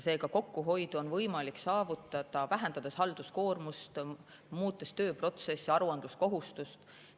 Seega, kokkuhoidu on võimalik saavutada, vähendades halduskoormust, muutes tööprotsesse, aruandluskohustust.